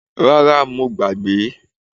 Rara, mo gbàgbé